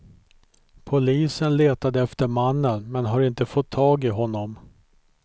Polisen letade efter mannen, men har inte fått tag i honom.